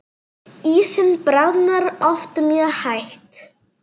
Ísinn bráðnar oft mjög hægt.